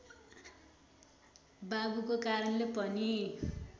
बाबुको कारणले पनि